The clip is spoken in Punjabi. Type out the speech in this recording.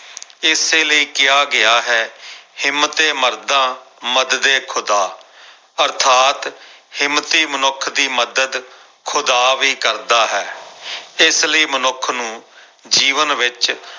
ਇਸੇ ਲਈ ਕਿਹਾ ਗਿਆ ਹੈ ਹਿੰਮਤੇ ਮਰਦਾ ਮਦਦ ਏ ਖੁਦਾ ਅਰਥਾਤ ਹਿੰਮਤੀ ਮਨੁੱਖ ਦੀ ਮਦਦ ਖੁਦਾ ਵੀ ਕਰਦਾ ਹੈ ਇਸ ਲਈ ਮਨੁੱਖ ਨੂੰ ਜੀਵਨ ਵਿੱਚ